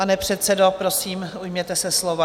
Pane předsedo, prosím, ujměte se slova.